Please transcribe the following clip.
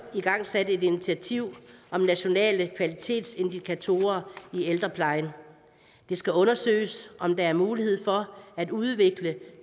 igangsat et initiativ om nationale kvalitetsindikatorer i ældreplejen det skal undersøges om der er mulighed for at udvikle